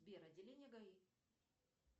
сбер отделение гаи